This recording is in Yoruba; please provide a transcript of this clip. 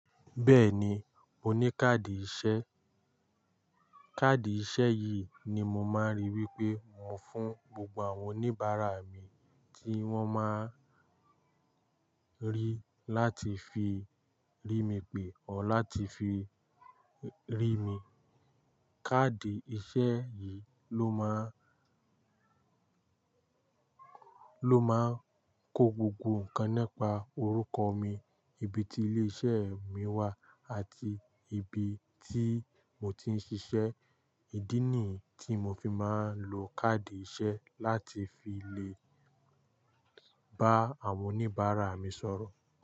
Bẹ́ẹ̀ni, mo ní káàdì ìṣe. Káàdì ìṣe yìí ni mo máa ń rí wípé mo ń fún gbogbo àwọn oníbàárà mi tí wón máa ń rí láti fi rí mi pè or láti fi rí mi. Káàdì ìṣe yìí ló máa, ló máa ń kó gbogbo ǹkan nípa orúkọ mi, ibi tí ilé iṣẹ́ mi wà àti ibi tí mo ti ń ṣiṣẹ́. Ìdí nìyí tí mo fi máa ń lo káàdì ìṣe láti fi lè bá àwọn oníbàárà mi sọ̀rọ̀